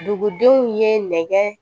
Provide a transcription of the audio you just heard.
Dugudenw ye nɛgɛ